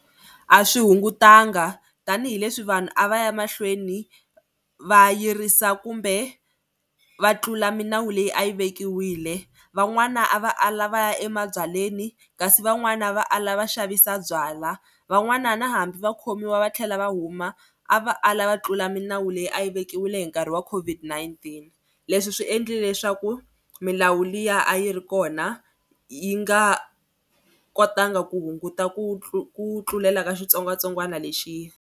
A swi hungutanga tanihileswi vanhu a va ya mahlweni va yirisa kumbe va tlula milawu leyi a yi vekiwile van'wana a va a lavaya emabyalweni kasi van'wani va ala va xavisa byalwa van'wana na hambi vakhomiwa va tlhela va huma a va ala va tlula milawu leyi a yi vekiwile hi nkarhi wa COVID-19. Leswi swi endlile leswaku milawu liya a yi ri kona yi nga kotanga ku hunguta ku ku tlulela ka xitsongwatsongwana lexi.